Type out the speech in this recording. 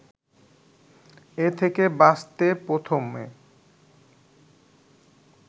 এ থেকে বাঁচতে প্রথমে